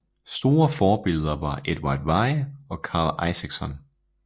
Store forbilleder var Edvard Weie og Karl Isakson